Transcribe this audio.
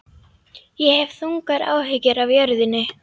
Ég hef þungar áhyggjur af jörðinni.